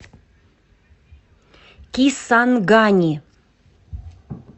кисангани